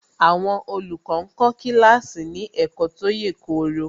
Àwọn olùkọ́ ń kọ́ kíláàsì ní ẹ̀kọ́ tó yèkoro